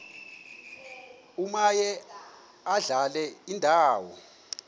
omaye adlale indawo